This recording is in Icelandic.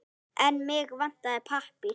En mig vantar pappír.